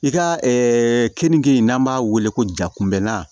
I ka keninge n'an b'a wele ko ja kunbɛna